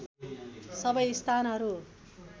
सबै स्थानहरू